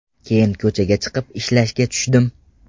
Keyin ko‘chaga chiqib izlashga tushdim.